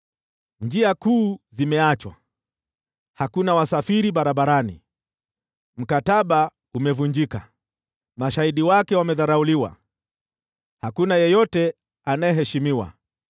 Njia kuu zimeachwa, hakuna wasafiri barabarani. Mkataba umevunjika, mashahidi wake wamedharauliwa, hakuna yeyote anayeheshimiwa.